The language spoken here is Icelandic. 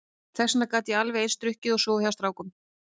Þess vegna gat ég alveg eins drukkið og sofið hjá strákum.